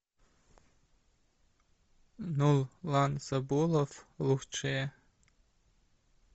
нурлан сабуров лучшее